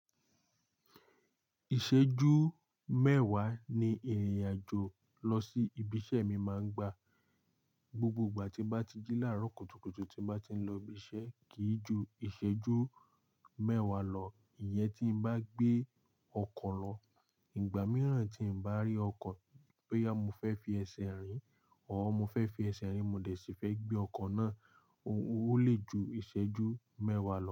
Ìṣẹ́jú mẹ́wàá ni ìrìnàjò lọ sí ibi iṣẹ́ mi máa ń gba. Gbogbo ìgbà tí mo bá ti jí láàárọ̀ kùtùkùtù tí mo bá ti ń lọ ibi iṣẹ́ kì í ju ìṣẹ́jú mẹ́wàá lọ. Ìyẹn tí mo bá gbé ọkọ̀ lọ, ìgbà mìíràn tí n ò bá rí ọkọ̀ boya mo fẹ́ fi ẹsẹ̀ rìn or mo fẹ́ fi ẹsẹ̀ rìn-in mo dẹ̀ sì fẹ́ gbé ọkọ̀ náà, ó lè ju ìṣẹ́jú mẹ́wàá lọ.